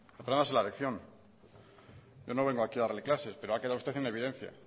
apréndase la lección yo no vengo aquí a darle clase pero ha quedado usted en evidencia